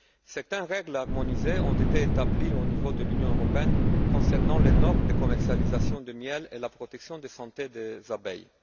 Certaines règles harmonisées ont été établies au niveau de l'Union européenne concernant les normes de commercialisation du miel et de la protection de la santé des abeilles.